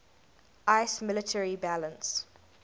iiss military balance